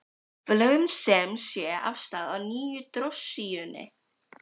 Við lögðum sem sé af stað á nýju drossíunni.